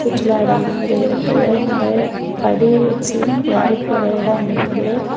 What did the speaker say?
சுற்றுலா இடம் மாதிரி இருக்குது நறைய படி வச்சு ஏறி போற எடம் இருக்குது.